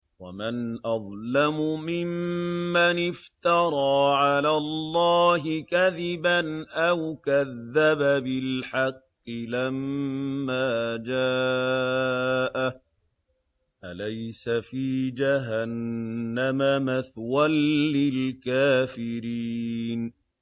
وَمَنْ أَظْلَمُ مِمَّنِ افْتَرَىٰ عَلَى اللَّهِ كَذِبًا أَوْ كَذَّبَ بِالْحَقِّ لَمَّا جَاءَهُ ۚ أَلَيْسَ فِي جَهَنَّمَ مَثْوًى لِّلْكَافِرِينَ